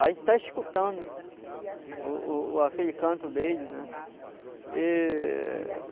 A gente está escutando o o aquele canto dele, né? E